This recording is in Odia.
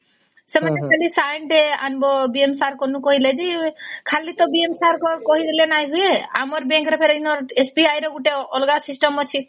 ସେମାନେ ଖାଲି sign ଟେ ଆଣିବା BM sir କେନ କହିଲେ ଯେ ଖାଲି ତ BM sir କା କହିଦେଲା ନ ହୁଏ ଆମର bank ତ SBI ର ଗୋଟେ ଅଲଗା system ଅଛେ